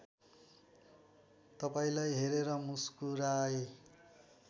तपाईँलाई हेरेर मुस्कुराए